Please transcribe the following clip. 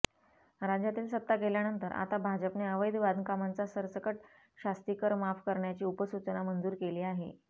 राज्यातील सत्ता गेल्यानंतर आता भाजपने अवैध बांधकामांचा सरकट शास्तीकर माफ करण्याची उपसूचना मंजूर केली आहे